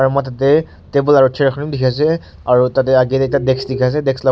aru motel teh table aru chair khan bhi dikhai ase aru tah teh age teh desk dikhai se desk lah--